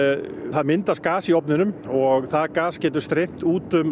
það myndast gas í ofninum og það gas getur streymt út um